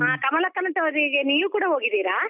ಹಾ, ಕಮಲಕ್ಕನ ಗೆ ನೀವು ಕೂಡ ಹೋಗಿದ್ದೀರಾ?